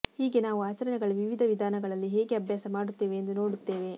ಹೀಗೆ ನಾವು ಆಚರಣೆಗಳ ವಿವಿಧ ವಿಧಾನಗಳಲ್ಲಿ ಹೇಗೆ ಅಭ್ಯಾಸ ಮಾಡುತ್ತೇವೆ ಎಂದು ನೋಡುತ್ತೇವೆ